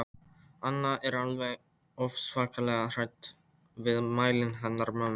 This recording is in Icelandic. Anna er alveg ofsalega hrædd við mælinn hennar mömmu.